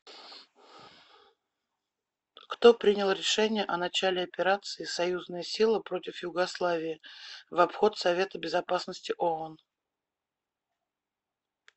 кто принял решение о начале операции союзная сила против югославии в обход совета безопасности оон